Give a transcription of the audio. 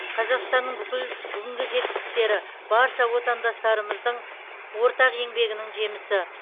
қазақстанның бүкіл бүгінгі жетістіктері барша отандастарымыздың ортақ еңбегінің жемісі